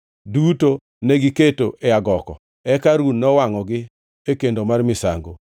duto negiketo ewi agoko, eka Harun nowangʼogie kendo mar misango.